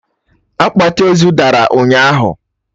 Akpati ozu dara ụnyaahụ!